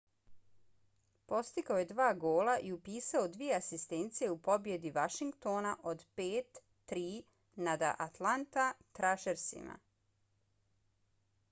postigao je dva gola i upisao dvije asistencije u pobjedi washingtona od 5-3 nada atlanta thrashersima